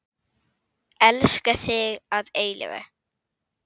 Elska þig að eilífu.